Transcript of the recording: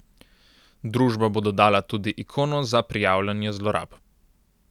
Družba bo dodala tudi ikono za prijavljanje zlorab.